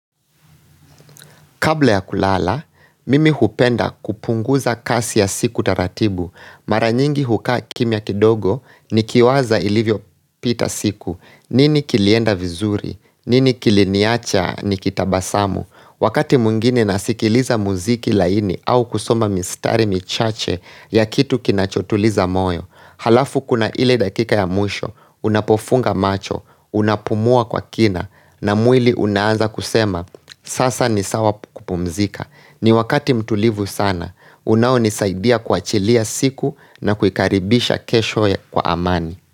Kabla ya kulala, mimi hupenda kupunguza kasi ya siku taratibu. Mara nyingi hukaa kimia kidogo nikiwaza ilivyo pita siku. Nini kilienda vizuri? Nini kiliniacha nikitabasamu? Wakati mwingine nasikiliza muziki laini au kusoma mistari michache ya kitu kinachotuliza moyo Alafu kuna ile dakika ya mwisho, unapofunga macho, unapumua kwa kina na mwili unaanza kusema, sasa ni sawa kupumzika ni wakati mtulivu sana, unaonisaidia kuachilia siku na kuikaribisha kesho ya kwa amani.